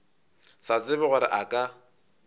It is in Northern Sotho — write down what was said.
sa tsebe gore a ka